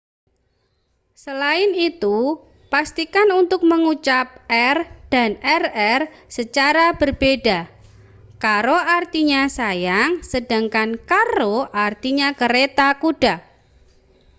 selain itu pastikan untuk mengucap r dan rr secara berbeda caro artinya sayang sedangkan carro artinya kereta kuda